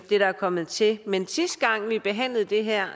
det der er kommet til men sidste gang vi behandlede det her